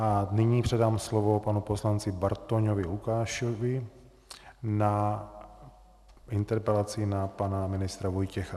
A nyní předám slovo panu poslanci Bartoňovi Lukášovi na interpelaci na pana ministra Vojtěcha.